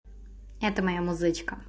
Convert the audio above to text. это моя музычка